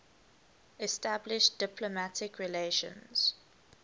established diplomatic relations